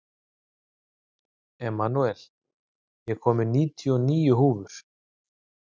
Emanúel, ég kom með níutíu og níu húfur!